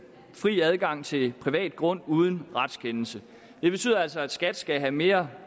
fri adgang til privat grund uden retskendelse det betyder altså at skat skal have mere